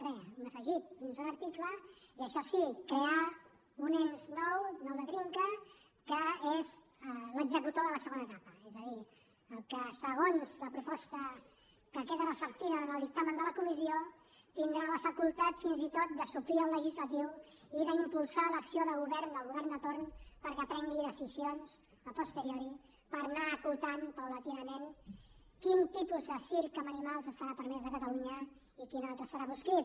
re un afegit dins d’un article i això sí crear un ens nou nou de trinca que és l’executor de la segona etapa és a dir el que segons la proposta que queda reflectida en el dictamen de la comissió tindrà la facultat fins i tot de suplir el legislatiu i d’impulsar l’acció de govern del govern de torn perquè prengui decisions a posteriori per anar acotant gradualment quin tipus de circ amb animals estarà permès a catalunya i quin altre hi serà proscrit